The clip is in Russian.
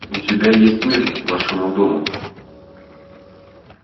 у тебя есть мир вашему дому